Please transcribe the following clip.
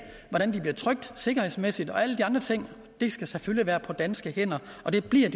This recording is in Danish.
hvordan de bliver trykt sikkerhedsmæssigt og alle de andre ting skal selvfølgelig være på danske hænder og det bliver